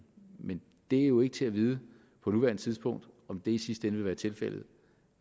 men det er jo ikke til at vide på nuværende tidspunkt om det i sidste ende vil være tilfældet